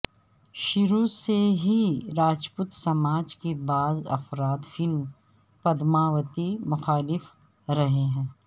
شروع سے ہی راجپوت سماج کے بعض افراد فلم پدماوتی مخالف رہے ہیں